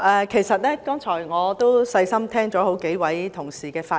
其實，我剛才細心聆聽好幾位同事的發言。